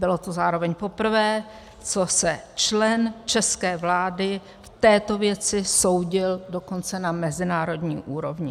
Bylo to zároveň poprvé, co se člen české vlády v této věci soudil dokonce na mezinárodní úrovni.